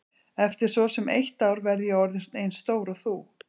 Eftir svo sem eitt ár verð ég orðin eins stór og þú.